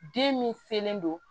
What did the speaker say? Den min selen don